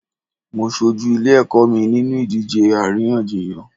Mo ṣojú ilé ẹ̀kọ́ mi nínú ìdíje àríyànjiyàn.